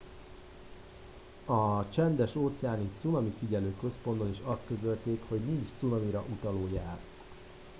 a csendes óceáni cunamifigyelő központban is azt közölték hogy nincs cunamira utaló jel